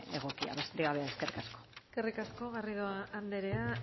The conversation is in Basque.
egokia besterik gabe eskerrik asko eskerrik asko garrido andrea